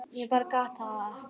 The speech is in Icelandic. Ég bara gat það ekki.